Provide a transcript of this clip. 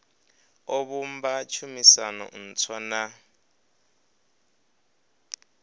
o vhumba tshumisano ntswa na